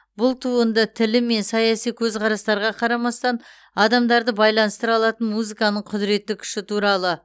бұл туынды тілі мен саяси көзқарастарға қарамастан адамдарды байланыстыра алатын музыканың құдыретті күші туралы